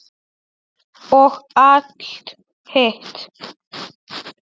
Og allt hitt.